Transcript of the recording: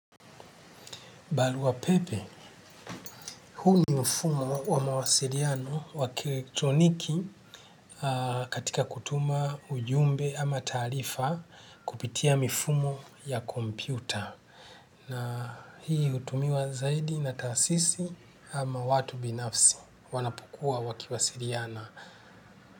Barua pepe, huu ni mfumo wa mawasiliano wa kieletroniki katika kutuma ujumbe ama taarifa kupitia mifumo ya kompyuta. Na hii hutumiwa zaidi na taasisi ama watu binafsi wanapokuwa wakiwasiliana.